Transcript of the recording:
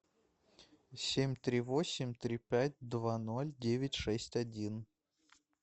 семь три восемь три пять два ноль девять шесть один